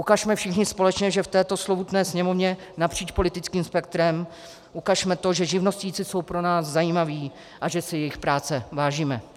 Ukažme všichni společně, že v této slovutné Sněmovně napříč politickým spektrem, ukažme to, že živnostníci jsou pro nás zajímaví a že si jejich práce vážíme.